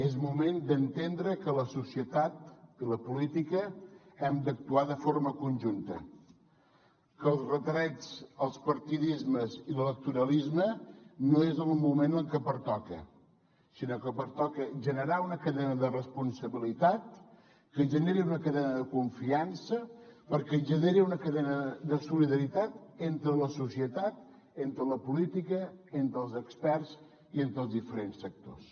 és moment d’entendre que la societat i la política hem d’actuar de forma conjunta que els retrets els partidismes i l’electoralisme no és el moment en què pertoca sinó que pertoca generar una cadena de responsabilitat que generi una cadena de confiança perquè generi una cadena de solidaritat entre la societat entre la política entre els experts i entre els diferents sectors